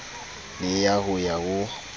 le ya ho ya ho